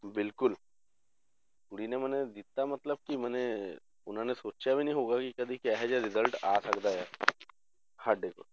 ਬਿਲਕੁਲ ਕੁੜੀ ਨੇ ਮਨੇ ਦਿੱਤਾ ਮਤਲਬ ਕਿ ਮਨੇ ਉਹਨਾਂ ਨੇ ਸੋਚਿਆ ਵੀ ਨੀ ਹੋਊਗਾ ਕਿ ਕਦੇ ਕਿਹੋ ਜਿਹਾ result ਆ ਸਕਦਾ ਹੈ ਸਾਡੇ